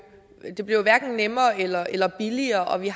det bliver jo hverken nemmere eller eller billigere og vi